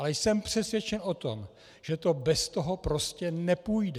Ale jsem přesvědčen o tom, že to bez toho prostě nepůjde.